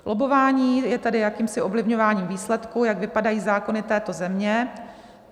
Lobbování je tedy jakýmsi ovlivňováním výsledku, jak vypadají zákony této země.